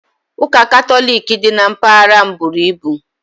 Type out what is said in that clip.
Ụka Katọlik dị na mpaghara m buru ibu